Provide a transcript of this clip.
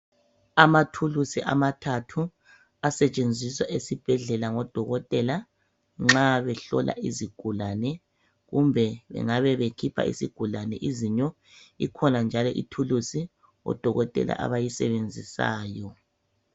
Amathuluzi amathathu asentshenziswa ezibhedlela ngo dokotela nxa behlola izigulane . Kumbe bengabe bekhipha izigulane izinyo ikhona njalo ithuluzi odokotela abayisebenzisayo